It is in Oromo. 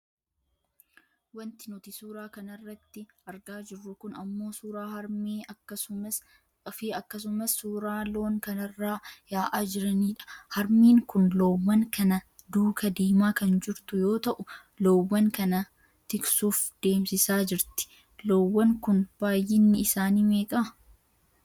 Wanti nuti suuraa kanarratti argaa jirru kun ammoo suuraa harmee fi akkasumas suuraa loon kanarraa yaa'aa jiraniidha. Harmeen kun loowwan kana duuka deemaa kan jirtu yoo taatu, loowwan kana tiksuuf deemsisaa jirti. Loowwan kun baayyinni isaanii meeqa?